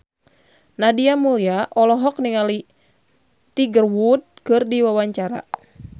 Nadia Mulya olohok ningali Tiger Wood keur diwawancara